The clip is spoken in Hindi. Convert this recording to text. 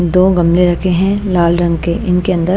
दो गमले रखे हैं लाल रंग के इनके अंदर--